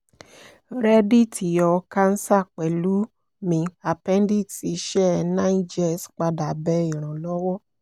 mo ṣe ayẹwo mri ati pe emi ko lo awọn ọrọ nla